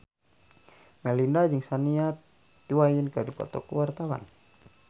Melinda jeung Shania Twain keur dipoto ku wartawan